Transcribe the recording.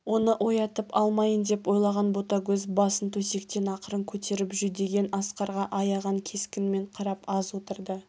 оны оятып алмайын деп ойлаған ботагөз басын төсектен ақырын көтеріп жүдеген асқарға аяған кескінмен қарап аз отырды